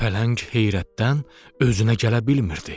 Pələng heyrətdən özünə gələ bilmirdi.